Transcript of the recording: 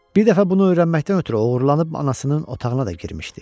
Bir dəfə bunu öyrənməkdən ötrü oğurlanıb anasının otağına da girmişdi.